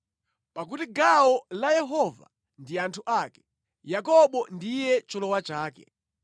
Pakuti gawo la Yehova ndi anthu ake, Yakobo ndiye cholowa chake.